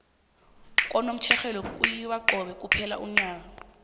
kunomtjherhelwe kuyiwa cobe kuphela konyaka